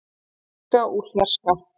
úr fjarska úr fjarska.